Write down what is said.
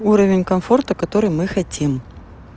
уровень комфорта который мы хотим